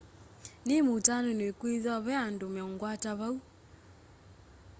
nimutanu nikwithwa ve andu meungwata mbau